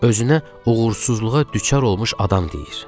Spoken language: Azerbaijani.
Özünə uğursuzluğa düçar olmuş adam deyir.